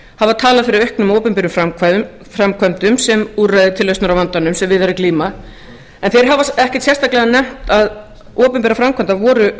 hafa talað fyrir auknum opinberum framkvæmdum sem úrræði til lausnar á vandanum sem við er að glíma en þeir hafa ekkert sérstaklega nefnt að opinberar framkvæmdir voru